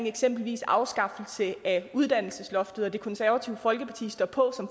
eksempelvis afskaffelse af uddannelsesloftet og det konservative folkeparti står på